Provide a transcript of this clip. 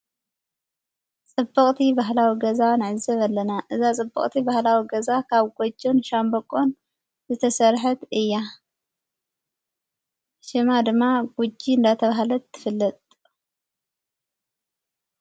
ጸብቕቲ በህላዊ ገዛ ንዕዘብ ኣለና እዛ ጸብቕቲ ባህላዊ ገዛ ካብ ጐጀን ሻንበቆን ዝተሠርሐት እያ ሽማ ድማ ጕጂ እንዳተብሃለት ትፍልጥ።